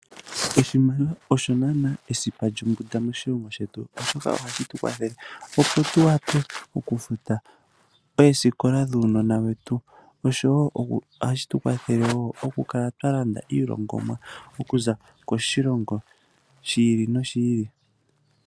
Oshimaliwa osho nana esipa lyombunda moshilongo shetu oshoka ohashi tu kwathele opo tu kale twa futa oosikola dhuunona wetu oshowo ohashi tu kwathele wo okukala twa landa iilongomwa okuza koshilongo shi ili noshi ili.